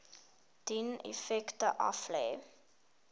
dien effekte aflê